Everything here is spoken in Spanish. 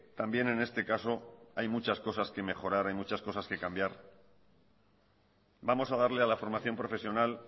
también en este caso hay muchas cosas que mejorar hay muchas cosas que cambiar vamos a darle a la formación profesional